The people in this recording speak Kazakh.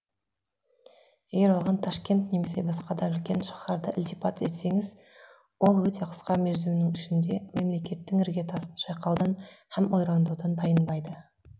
егер оған ташкент немесе басқа да үлкен шаһарды ілтипат етсеңіз ол өте қысқа мерзімнің ішінде мемлекеттің іргетасын шайқаудан һәм ойрандаудан тайынбайды